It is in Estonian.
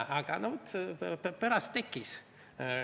Aga pärast see tekkis.